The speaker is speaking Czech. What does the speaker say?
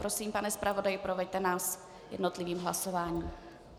Prosím, pane zpravodaji, proveďte nás jednotlivým hlasováním.